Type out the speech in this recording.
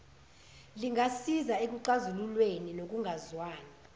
lingasiza ekuxazululeni kokungezwani